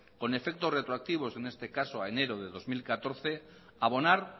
con efecto retroactivo en este caso a enero de dos mil catorce abonar